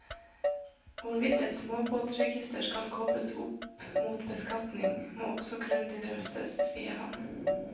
Hvorvidt et småbåtregister skal kobles opp mot beskatning, må også grundig drøftes, sier han.